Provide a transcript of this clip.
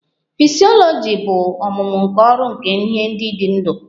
Fisyọlọji bụ ọmụmụ nke ọrụ nke ihe ndị dị ndụ